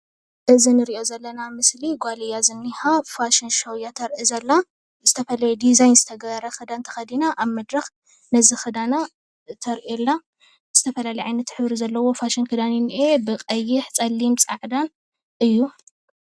እዚ እንሪኦ ዘለና ምስሊ ጓል እያ ዝኒይሃ ፋሽን ሸው እያ ተርኢ ዘላ ዝተፈለየ ዲዛይን ዝተገበረ ክዳን ተከዲና ኣብ መድረክ ነዚ ክዳና ተርእዮ ኣላ ዝተፈላለየ ዓይነት ሕብሪ ዘለዎ ፋሽን ክዳን እዩ ዝኒሀ ብቀይሕ፣ ብፀሊም፣ ፃዕዳ እዩ፡፡